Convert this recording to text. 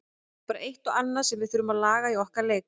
Það er bara eitt og annað sem við þurfum að laga í okkar leik.